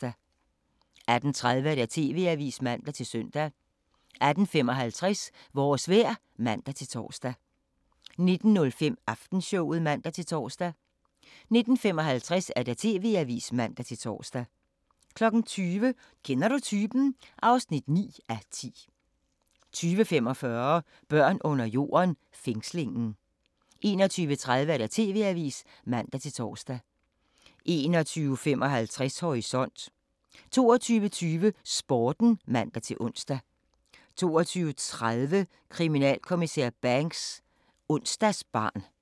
18:30: TV-avisen (man-søn) 18:55: Vores vejr (man-tor) 19:05: Aftenshowet (man-tor) 19:55: TV-avisen (man-tor) 20:00: Kender du typen? (9:10) 20:45: Børn under jorden: Fængslingen 21:30: TV-avisen (man-tor) 21:55: Horisont 22:20: Sporten (man-ons) 22:30: Kriminalinspektør Banks: Onsdagsbarn